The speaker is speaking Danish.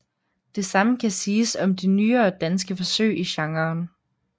Det samme kan siges om de nyere danske forsøg i genren